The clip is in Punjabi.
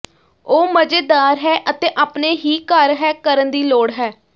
ਉਹ ਮਜ਼ੇਦਾਰ ਹੈ ਅਤੇ ਆਪਣੇ ਹੀ ਘਰ ਹੈ ਕਰਨ ਦੀ ਲੋੜ ਹੈ